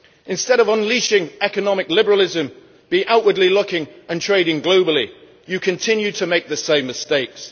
Instead of unleashing economic liberalism looking outwards and trading globally you continue to make the same mistakes.